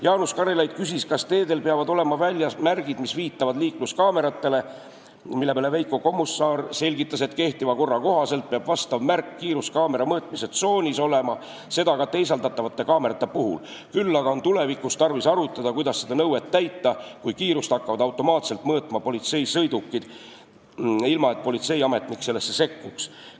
Jaanus Karilaid küsis, kas teedel peavad olema väljas märgid, mis viitavad liikluskaameratele, mille peale Veiko Kommusaar selgitas, et kehtiva korra kohaselt peab vastav märk kiiruskaamerate mõõtmise tsoonis olema, seda ka teisaldatavate kaamerate puhul, küll on aga tulevikus tarvis arutada, kuidas seda nõuet täita, kui kiirust hakkavad automaatselt mõõtma politseisõidukid, ilma et politseiametnik sellesse sekkuks.